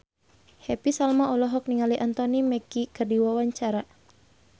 Happy Salma olohok ningali Anthony Mackie keur diwawancara